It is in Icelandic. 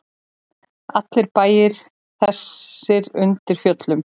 Allir standa bæir þessir undir fjöllum.